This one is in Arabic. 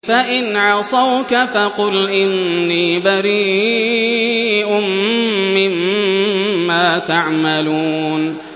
فَإِنْ عَصَوْكَ فَقُلْ إِنِّي بَرِيءٌ مِّمَّا تَعْمَلُونَ